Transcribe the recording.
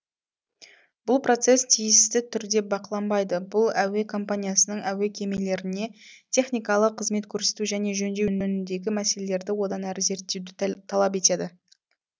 бұл процесс тиісті түрде бақыланбайды бұл әуе компаниясының әуе кемелеріне техникалық қызмет көрсету және жөндеу жөніндегі мәселелерді одан әрі зерттеуді талап етеді